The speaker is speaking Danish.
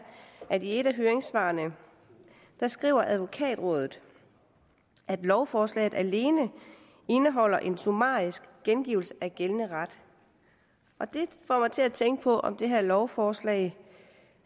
at i et af høringssvarene skriver advokatrådet at lovforslaget alene indeholder en summarisk gengivelse af gældende ret det får mig til at tænke på om det her lovforslag